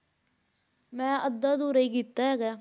ਮੈਂ ਅੱਧਾ ਅਧੂਰਾ ਹੀ ਕੀਤਾ ਹੈਗਾ ਹੈ।